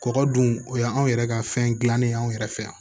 Kɔgɔ dun o y'an yɛrɛ ka fɛn dilannen ye anw yɛrɛ fɛ yan